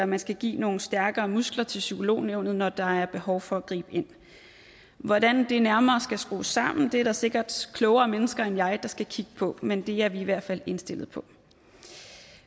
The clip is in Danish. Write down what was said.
man skal give nogle stærkere muskler til psykolognævnet når der er behov for at gribe ind hvordan det nærmere skal skrues sammen er der sikkert klogere mennesker end jeg der skal kigge på men det er vi i hvert fald indstillet på